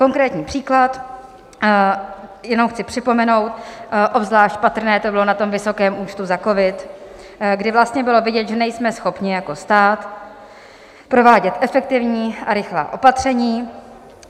Konkrétní příklad: jenom chci připomenout, obzvlášť patrné to bylo na tom vysokém účtu za covid, kdy vlastně bylo vidět, že nejsme schopni jako stát provádět efektivní a rychlá opatření.